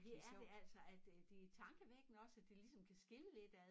Det er det altså at øh det tankevækkende også at det ligesom kan skille lidt ad